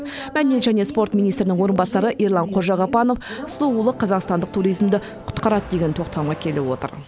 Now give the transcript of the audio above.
мәдениет және спорт министрінің орынбасары ерлан қожағапанов сұлулық қазақстандық туризмді құтқарады деген тоқтамға келіп отыр